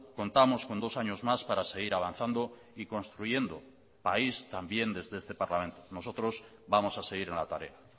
contamos con dos años más para seguir avanzando y construyendo país también desde este parlamento nosotros vamos a seguir en la tarea